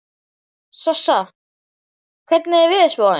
Sossa, hvernig er veðurspáin?